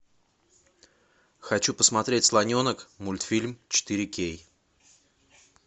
хочу посмотреть слоненок мультфильм четыре кей